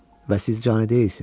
Və siz cani deyilsiniz.